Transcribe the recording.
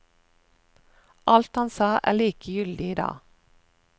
Alt han sa, er like gyldig i dag.